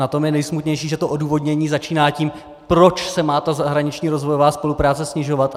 Na tom je nejsmutnější, že to odůvodnění začíná tím, proč se má ta zahraniční rozvojová spolupráce snižovat.